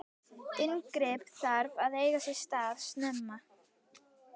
inngrip þarf að eiga sér stað snemma